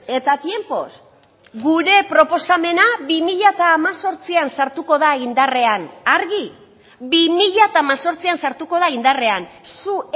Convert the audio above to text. eta tiempos gure proposamena bi mila hemezortzian sartuko da indarrean argi bi mila hemezortzian sartuko da indarrean zu